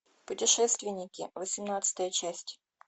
путешественники восемнадцатая часть